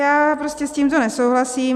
Já prostě s tímto nesouhlasím.